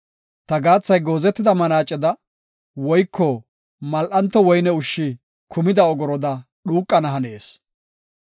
Ta gaathay goozetida manaaceda, woyko mal7anto woyne ushshi kumida ogoroda dhuuqana hanees.